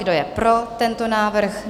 Kdo je pro tento návrh?